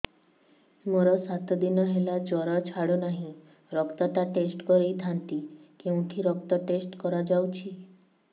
ମୋରୋ ସାତ ଦିନ ହେଲା ଜ୍ଵର ଛାଡୁନାହିଁ ରକ୍ତ ଟା ଟେଷ୍ଟ କରିଥାନ୍ତି କେଉଁଠି ରକ୍ତ ଟେଷ୍ଟ କରା ଯାଉଛି